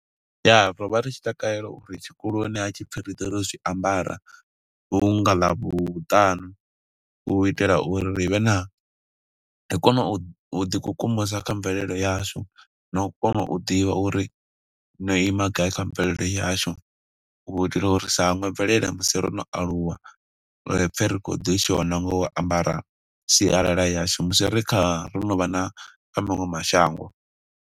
Ya, ro vha ri tshi takalela uri tshikoloni ha tshi pfi ri ḓe ro zwiambara, hunga ḽavhutanu u itela uri ri vhe na, ri kone u ḓi kukumusa kha mvelele yashu, no u kona u ḓivha uri no ima gai kha mvelele yashu. U itela uri ri sa hangwe mvelele musi ro no aluwa, ri pfe ri kho ḓi shona nga u ambara sialala yashu. Musi ri kha, ro no vha na kha maṅwe mashango.